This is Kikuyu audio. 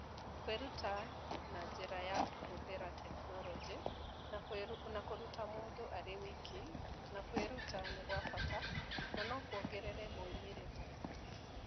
Kwĩruta na njĩra ya kũhũthĩra tekinoronjĩ na kũruta mũndũ arĩ wiki na kwĩruta nĩ kwa bata na no kũongerere moimĩrĩro.